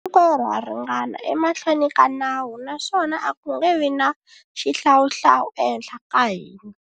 Hinkwerhu ha ringana emahlweni ka nawu naswona a ku nge vi na xihlawuhlawu ehenhla ka hina.